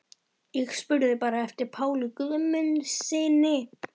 Ég spurði bara eftir Páli Guðmundssyni.